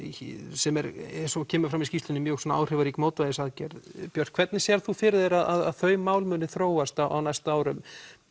sem er eins og kemur fram í skýrslunni mjög mótvægisaðgerð björk hvernig sérð þú fyrir þér að þau mál muni þróast á næstu árum